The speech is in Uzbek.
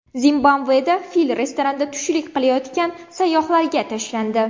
Zimbabveda fil restoranda tushlik qilayotgan sayyohlarga tashlandi.